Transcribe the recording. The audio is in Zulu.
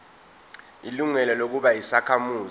ilungelo lokuba yisakhamuzi